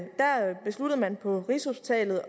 det stod man på rigshospitalet